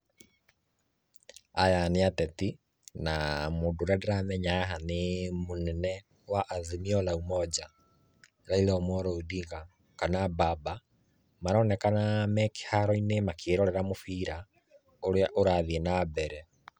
Aya nĩ ateti na mũndũ ũrĩa ndĩramenya haha nĩ mũnene wa Azimio la Umoja, Raila Omollo Ondinga, kana mbmaba maronekana me kĩharoinĩ makĩrorera mũbira, urĩa ũrathiĩ nambere.